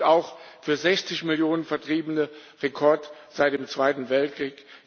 Das gilt auch für 60 Millionen Vertriebene Rekord seit dem Zweiten Weltkrieg.